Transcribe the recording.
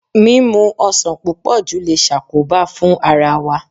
Mímu ọsàn púpọ̀ jù le ṣàkóbá fún ara wa.